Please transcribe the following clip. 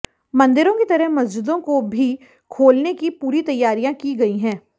मंदिरों की तरह मस्जिदों को भी खोलने की पूरी तैयारियां की गई हैं